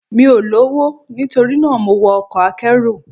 Mi ò lọ́wọ́, nitorina mo wọ ọkọ̀ akẹ́rù.